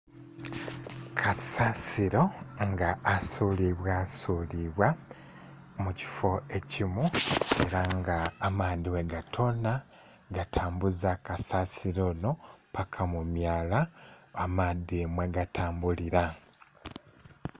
Kasasiro nga asulibwa sulibwa mu kifoo ekimu era nga amaadhi bwe gatonha, gatambuza kasasiro onho paka mu myala amaadhi mwe ga tambulila.